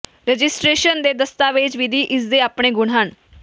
registration ਦੇ ਦਸਤਾਵੇਜ਼ ਵਿਧੀ ਇਸ ਦੇ ਆਪਣੇ ਗੁਣ ਹਨ